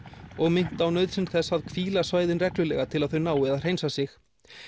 og minnt á nauðsyn þess að hvíla svæðin reglulega til að þau nái að hreinsa sig